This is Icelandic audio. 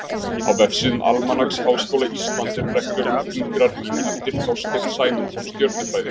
Á vefsíðum Almanaks Háskóla Íslands eru reglur um fingrarím, eftir Þorsteinn Sæmundsson stjörnufræðing.